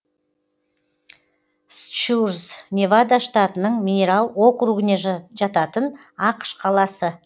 счурз невада штатының минерал округіне жататын ақш қаласы